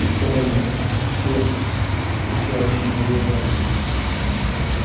стаями все с овчарочьими глазами